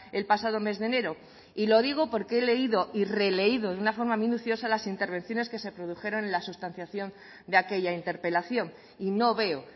el pasado mes de enero y lo digo porque he leído y releído de una forma minuciosa las intervenciones que se produjeron en la sustanciación de aquella interpelación y no veo